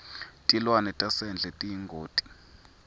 tilwane tasendle tiyingoti